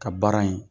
Ka baara in